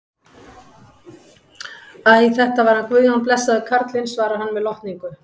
Æ, þetta var hann Guðjón, blessaður karlinn, svarar hann með lotningu.